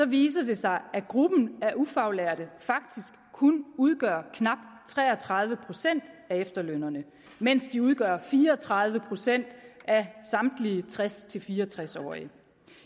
viser det sig at gruppen af ufaglærte faktisk kun udgør knap tre og tredive procent af efterlønnerne mens de udgør fire og tredive procent af samtlige tres til fire og tres årige